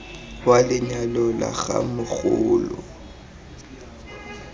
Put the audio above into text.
wa lenyalo la ga mogoloo